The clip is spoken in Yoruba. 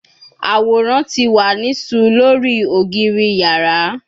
Aworan ti wa ni ṣù lori ogiri yara